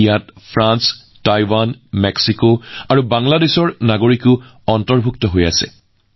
ইয়াৰ ভিতৰত France Taiwan Mexico আৰু বাংলাদেশৰ নাগৰিকো আছে